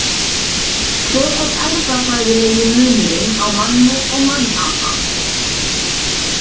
Hver er erfðafræðilegi munurinn á manni og mannapa?